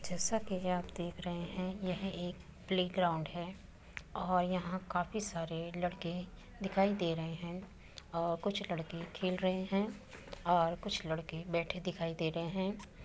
जैसा कि आप देख रहे हैं यह एक प्ले-ग्राउंड है और यहाँ काफी सारे लड़के दिखाई दे रहे है और कुछ लड़के खेल रहे हैं और कुछ लड़के बैठे दिख रहें हैं।